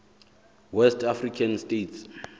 west african states